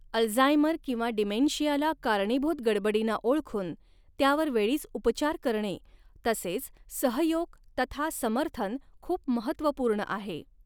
Alzheimer किंवा डीमेंशियाला कारणीभूत गडबडीना ओळखुन त्या वर वेळीच उपचार करणे तसेच सहयोग तथा समर्थन खूप महत्त्वपूर्ण आहे.